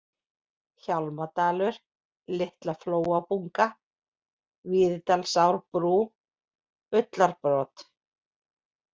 Hjálmadalur, Litlaflóabunga, Víðidalsárbrú, Ullarbrot